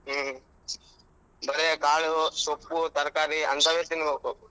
ಹ್ಮ್ ಬರೆ ಕಾಳು ಸೊಪ್ಪು ತರಕಾರಿ ಅಂತವೆ ತಿನ್ಬೇಕು.